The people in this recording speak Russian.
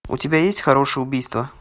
у тебя есть хорошее убийство